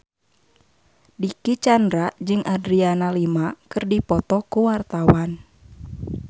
Dicky Chandra jeung Adriana Lima keur dipoto ku wartawan